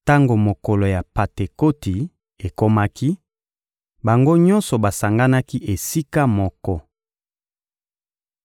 Tango mokolo ya Pantekoti ekomaki, bango nyonso basanganaki esika moko.